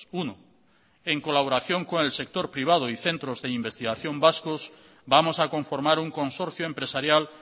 uno en colaboración con el sector privado y centros de investigación vascos vamos a conformar un consorcio empresarial